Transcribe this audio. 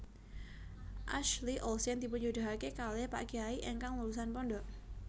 Ashley Olsen dipunjodohake kalih pak kyai ingkang lulusan pondok